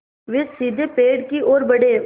वे सीधे पेड़ की ओर बढ़े